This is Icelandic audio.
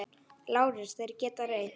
LÁRUS: Þér getið reynt.